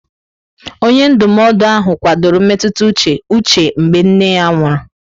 Onye ndụmọdụ ahụ kwadoro mmetụta uche Uche mgbe nne ya nwụrụ.